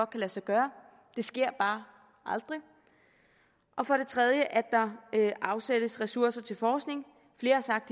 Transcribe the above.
kan lade sig gøre det sker bare aldrig og for det tredje at der afsættes ressourcer til forskning flere har sagt